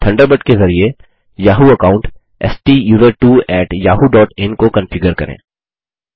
Thunderbird के ज़रिये Yahoo account STUSERTWOyahoo dot in को कन्फिगर करें